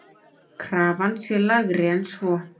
Krafan sé lægri en svo.